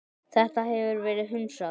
Þetta hefur verið hunsað.